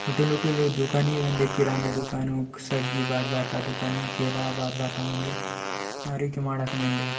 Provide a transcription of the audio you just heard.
उतु लूटी लू दुकानि वेंदे किराना दुकान सब्जी बाग बाता दुकानि केला बात बाता नी --